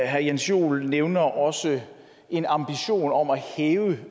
herre jens joel nævner også en ambition om at hæve